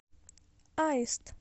аист